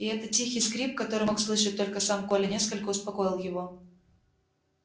и этот тихий скрип который мог слышать только сам коля несколько успокоил его